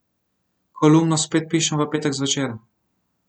Kolumno spet pišem v petek zvečer.